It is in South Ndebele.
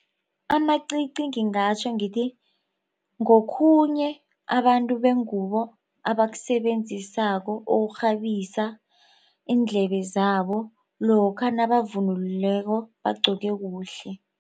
Amacici ngingatjho ngithi ngokhunye abantu bengubo abakusebenzisako ukukghabisa iindlebe zabo lokha nabavunulileko bagqoke kuhle.